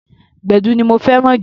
Gbẹ̀du ni mo fẹ́ràn jù.